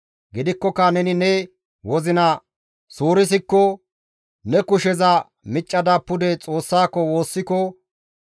Gidikkoka neni ne wozina suurisikko, ne kusheza miccada pude Xoossako woossiko,